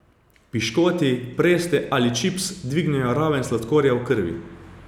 Piškoti, preste ali čips dvignejo raven sladkorja v krvi.